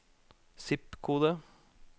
zip-kode